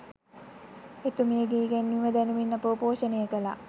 එතුමියගේ ඉගැන්වීම දැනුමින් අපව ‍පෝෂණය කළා